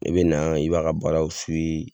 I bɛ na i b'a ka baaraw